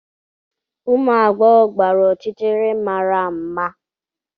Ụmụ agbọghọ gbara ọchịchịrị mara mma.